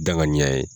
Danganiya ye